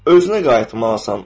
Özünə qayıtmalısan.